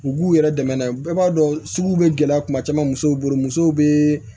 U b'u yɛrɛ dɛmɛ n'a ye bɛɛ b'a dɔn suguw bɛ gɛlɛya kuma caman musow bolo musow bɛ